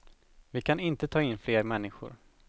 Vi kan inte ta in fler människor.